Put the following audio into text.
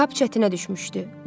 Kap çətinə düşmüşdü.